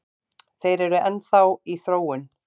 Þeir eru enn þá í þróun